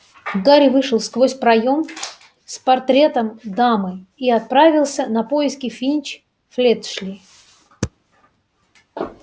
гарри вышел сквозь проем с портретом дамы и отправился на поиски финч-флетчли